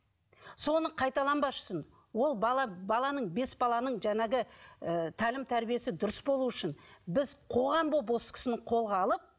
соны қайталанбас үшін ол бала баланың бес баланың жаңағы ыыы тәлім тәрбиесі дұрыс болуы үшін біз қоғам болып осы кісіні қолға алып